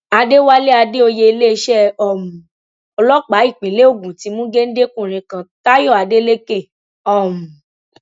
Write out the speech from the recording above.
àdẹwálé àdèoyè iléeṣẹ um ọlọpàá ìpínlẹ ogun ti mú géńdékùnrin kan táyọ adélèké um